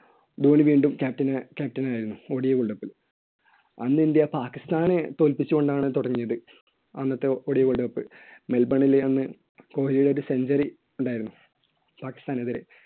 ധോണി വീണ്ടും captain~ captain ആയിരുന്നു. odiworld cup ല്‍. അന്ന് ഇന്ത്യ പാകിസ്താനെ തോൽപ്പിച്ചുകൊണ്ടാണ് തുടങ്ങിയത്. അന്നത്തെ odiWorld Cup. മെൽബണിൽ അന്ന് കോഹ്‌ലിയുടെ ഒരു century ഉണ്ടായിരുന്നു. പാകിസ്ഥാനെതിരെ